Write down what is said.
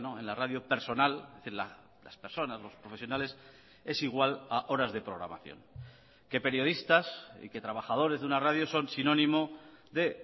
en la radio personal las personas los profesionales es igual a horas de programación que periodistas y que trabajadores de una radio son sinónimo de